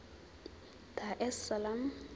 dar es salaam